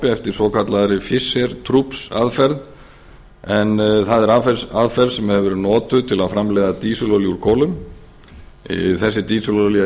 eftir svokallaðri fisher troops aðferð en það er aðferð sem hefur verið notuð til að framleiða dísilolíu úr kolum þessi dísilolía